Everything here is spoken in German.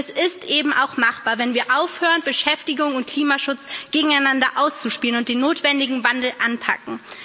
Es ist eben auch machbar, wenn wir aufhören, Beschäftigung und Klimaschutz gegeneinander auszuspielen, und den notwendigen Wandel anpacken.